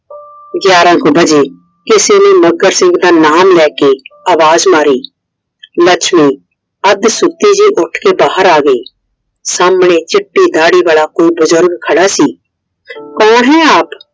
ਗਿਆਰਾਂ ਕੂ ਵਜੇ ਕਿਸੇ ਨੇ ਮੱਘਰ ਸਿੰਘ ਦਾ ਨਾ ਲੈ ਕੇ ਅਵਾਜ ਮਾਰੀ, ਲੱਛਮੀ ਅੱਧ ਸੁਤੀ ਹੀ ਉੱਠ ਕੇ ਬਾਹਰ ਆ ਗਈ Iਸਾਹਮਣੇ ਚਿੱਟੀ ਦਾੜੀ ਵਾਲਾ ਕੋਈ ਬਜ਼ੁਰਗ ਖੜਾ ਸੀ कौन है आप?